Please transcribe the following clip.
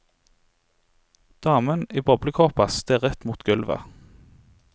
Damen i boblekåpa stirret mot gulvet.